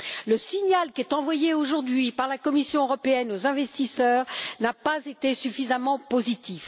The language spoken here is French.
Le signal envoyé aujourd'hui par la Commission européenne aux investisseurs n'a pas été suffisamment positif.